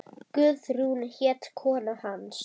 Guðrún hét kona hans.